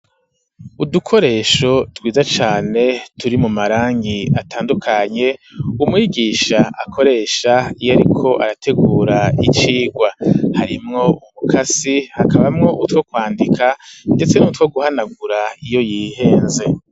Udukoresho twiza cane turimwo amarangi atandukanye umwigisha akoresha iyo ariko arategura icigwa harimwo umukasi hakabamwo utwo kwandika ndetse nutwo guhanagura iyo yihenze.